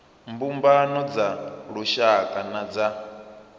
mbumbano dza lushaka na dza